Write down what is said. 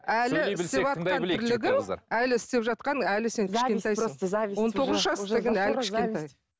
әлі істеп жатқан әлі сен кішкентайсың